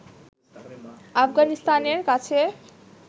আফগানিস্তানের কাছে